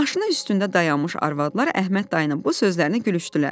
Maşının üstündə dayanmış arvadlar Əhməd dayının bu sözlərini gülüşdülər.